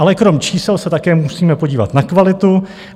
Ale krom čísel se také musíme podívat na kvalitu.